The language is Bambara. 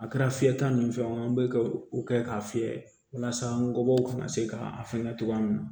A kɛra fiyɛta nin fɛn o bɛ ka o kɛ k'a fiyɛ walasa nkɔbɔ ka se ka a fɛngɛ cogoya min